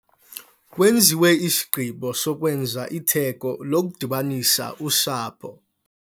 Kwenziwe isigqibo sokwenza itheko lokudibanisa usapho.